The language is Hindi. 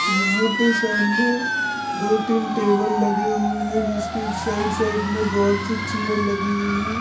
यहा पे सामने दो तीन टेबल लगे हुए है जिसके साइड साइड मे बहुत सी चेयर लगी हुई है।